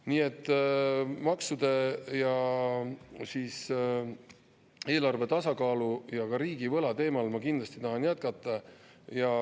Nii et maksude ja eelarve tasakaalu ja ka riigivõla teemal ma kindlasti tahan jätkata.